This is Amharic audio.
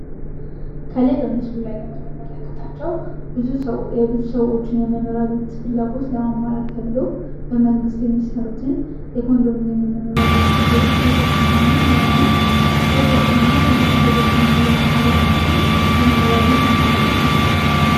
ከላይ በምስሉ ላይ የምንመለከታቸው የብዙ ሰዎችን የመኖር ፍላጐት ለማሟላት ተብሎ በመንግሥት የሚሰሩትን የኮንዶሚኒየም መኖሪያ ቤቶች ሲሆኑ እነዚህም ፎቆች ሁነው አንድ ላይ ማኖር የሚችሉ የመኖሪያ ቤት አማራጮች ናቸው።